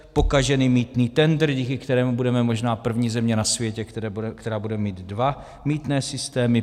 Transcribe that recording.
pokažený mýtný tendr, díky kterému budeme možná první země na světě, která bude mít dva mýtné systémy;